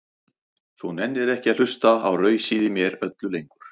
Þú nennir ekki að hlusta á rausið í mér öllu lengur.